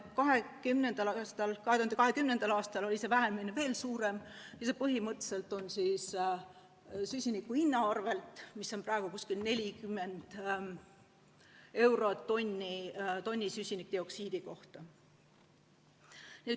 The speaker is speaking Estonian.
2020. aastal oli see vähenemine veel suurem ja see põhimõtteliselt on tulnud tänu süsiniku hinnale, mis on praegu umbes 40 eurot tonni süsinikdioksiidi kohta.